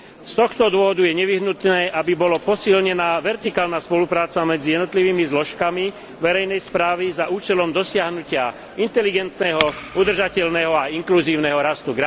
Z tohto dôvodu je nevyhnutné, aby bola posilnená vertikálna spolupráca medzi jednotlivými zložkami verejnej správy za účelom dosiahnutia inteligentného, udržateľného a inkluzívneho rastu.